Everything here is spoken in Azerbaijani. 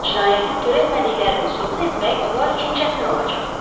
Cinayəti törətmədiklərini sübut etmək onlar üçün çətin olacaq.